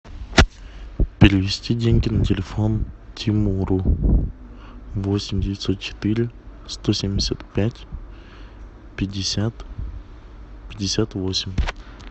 перевести деньги на телефон тимуру восемь девятьсот четыре сто семьдесят пять пятьдесят пятьдесят восемь